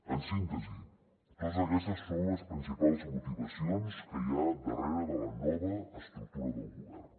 en síntesi totes aquestes són les principals motivacions que hi ha darrere de la nova estructura del govern